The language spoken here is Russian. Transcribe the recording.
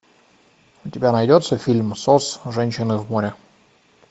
у тебя найдется фильм сос женщины в море